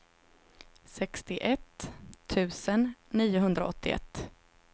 sextioett tusen niohundraåttioett